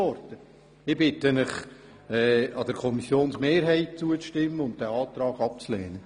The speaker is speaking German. Ich bitte Sie, der Kommissionsmehrheit zuzustimmen und den Antrag abzulehnen.